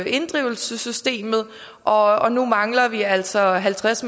inddrivelsessystemet og nu mangler vi altså halvtreds